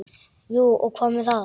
Jú og hvað með það!